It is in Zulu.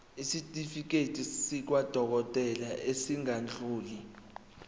isitifiketi sakwadokodela esingadluli